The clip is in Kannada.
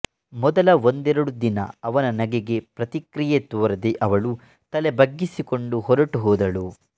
ಮೊದಲ ಒಂದೆರಡು ದಿನ ಅವನ ನಗೆಗೆ ಪ್ರತಿಕ್ರಿಯೆ ತೋರದೆ ಅವಳು ತಲೆ ಬಗ್ಗಿಸಿಕೊಂಡು ಹೊರಟು ಹೋದಳು